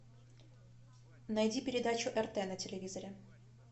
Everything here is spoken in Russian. найди передачу рт на телевизоре